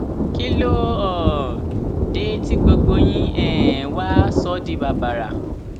kí ló um dé tí gbogbo yín um wàá sọ ọ di bàbàrà